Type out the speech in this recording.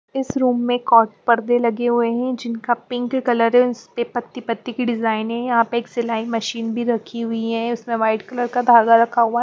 इस रूम में कॉट पर्दे लगे हुए हैं जिनका पिंक कलरेंस पे पत्ती पत्ती की डिजाइने यहाँ पे एक सिलाई मशीन भी रखी हुई है उसमें वाइट कलर का धागा रखा हुआ --